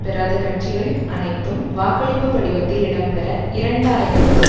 பெறாத கட்சிகள் அனைத்தும் வாக்களிப்பு படிவத்தில் இடம்பெற இரண்டாயிரத்து